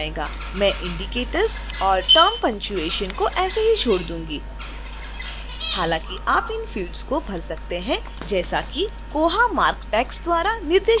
मैं indicatorsऔर term punctuation को ऐसे ही छोड़ दूंगी